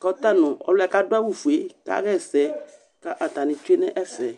kʋ ɔta nʋ ɔlʋ yɛ kʋ adʋ awʋfue yɛ kaɣa ɛsɛ kʋ atanɩ tsue nʋ ɛfɛ